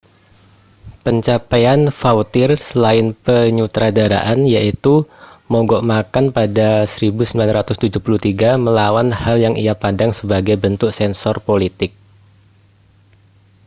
pencapaian vautier selain penyutradaraan yaitu mogok makan pada 1973 melawan hal yang ia pandang sebagai bentuk sensor politik